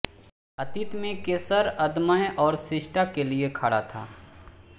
अतीत में केसर अदम्य और शिष्टता के लिए खड़ा था